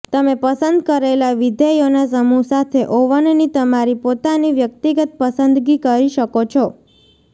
તમે પસંદ કરેલા વિધેયોના સમૂહ સાથે ઓવનની તમારી પોતાની વ્યક્તિગત પસંદગી કરી શકો છો